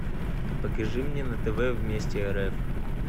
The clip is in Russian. покажи мне на тв вместе рф